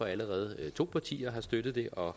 allerede er to partier der støtter det og